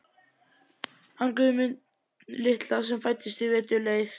hann Guðmund litla sem fæddist í vetur leið.